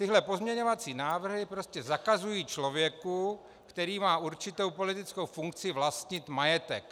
Tyhle pozměňovací návrhy prostě zakazují člověku, který má určitou politickou funkci, vlastnit majetek.